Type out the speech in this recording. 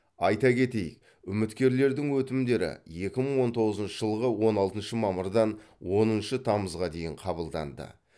айта кетейік үміткерлердің өтінімдері екі мың он тоғызыншы жылғы он алтыншы мамырдан оныншы тамызға дейін қабылданды